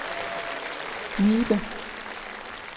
Nibe